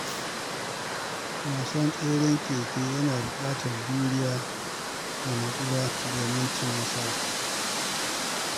Wasan tseren keke yana buƙatar juriya da natsuwa domin cin nasara.